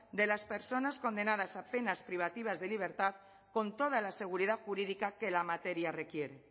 de las personas condenadas a penas privativas de libertad con toda la seguridad jurídica que la materia requiere